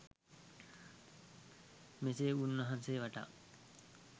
මෙසේ උන්වහන්සේ වටා